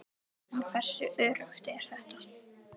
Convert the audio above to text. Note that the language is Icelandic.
En hversu öruggt er þetta?